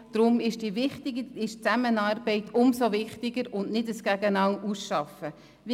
Deshalb ist die Zusammenarbeit umso wichtiger, und es ist zu vermeiden, dass man gegeneinander arbeitet.